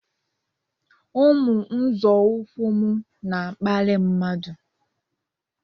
Ụmụ nzọụkwụ m na-akparị mmadụ